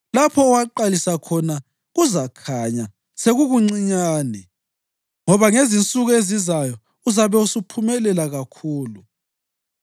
Lapho owaqalisa khona kuzakhanya sekukuncinyane, ngoba ngezinsuku ezizayo uzabe usuphumelela kakhulu.